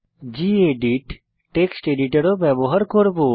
gedit text editor ও ব্যবহার করব